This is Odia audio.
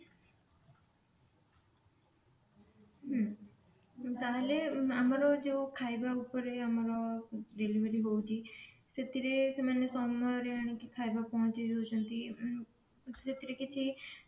ହଁ ତାହେଲେ ଆମର ଯୋଉ ଖାଇବା ଉପର ଆମର delivery ହଉଛି ସେଥିରେ ସେମାନେ ସମୟର ଆଣିକି ଖାଇବା ପହଞ୍ଚେଇ ଦଉଛନ୍ତି ସେଥିରେ କିଛି